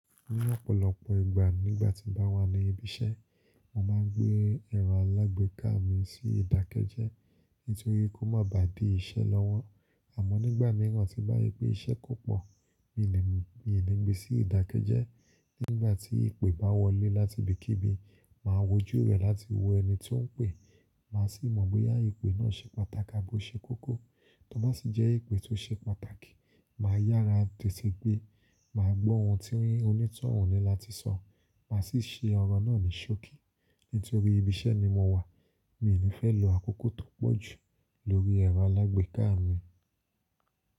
Ní ọ̀pọ̀lọpọ̀ ìgbà nígbà tí bá wà ní ibi iṣẹ́, mo máa gbé ẹ̀rọ alágbèéká mi sí ìdákẹ́jẹ́ nítorí kó má bà dí iṣẹ́ lọ́wọ́. Àmọ́ nígbà míràn tí bá rí pé iṣẹ́ kò pọ̀, mi ò ní gbé sí ìdákẹ́jẹ́. Nígbà tí ìpè bá wọlé láti ibikíbi, màá wò ojú rẹ̀ láti wo ẹni tí ó ń pè. Màá sì mọ̀ bóyá ìpè náà ṣe pàtàkì tabi o ṣe kókó. Tó bá sì jẹ́ ìpè tó ṣe pàtàkì, màá yára tètè gbé. Màá gbọ́ ohun tí onítọ̀hún níláti sọ, màá sì ṣe ọ̀rọ̀ náà ní ṣókí. Nítorí ibi iṣẹ́ ni mo wà, mi ò ní fẹ́ lo àkókò tó pọ̀ jù lórí ẹ̀rọ alágbèéká mi.